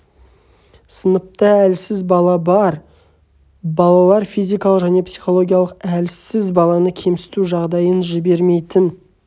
сыныпта әлсіз бала бар балалар физикалық және психологиялық әлсіз баланы кемсіту жағдайын жибермейтін